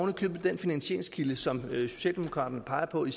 i købet den finansieringskilde som socialdemokraterne peger på i